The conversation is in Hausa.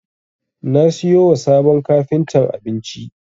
Na siyo wa sabon kafintan abinci.